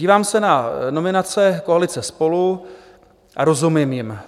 Dívám se na nominace koalice SPOLU a rozumím jim.